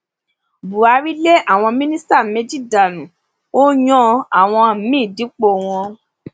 buhari lé àwọn mínísítà méjì dànù ó yan àwọn míín dípò wọn